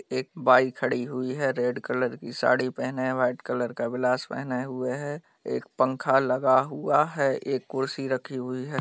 एक बाई खड़ी हुई है रेड कलर की साड़ी पहने वाइट कलर का ब्लाउज पहने हुए है एक पंखा लगा हुआ है एक कुर्सी रखी हुई है।